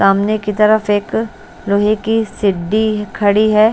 सामने की तरफ एक लोहे की सिड्डी खड़ी है।